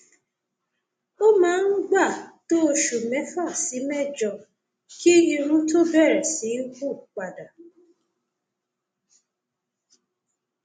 ó máa ń gbà tó oṣù mẹfà sí mẹjọ kí irun tó bẹrẹ sí hù padà